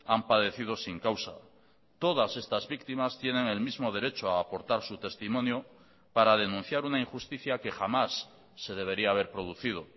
han padecido sin causa todas estas víctimas tienen el mismo derecho a aportar su testimonio para denunciar una injusticia que jamás se debería haber producido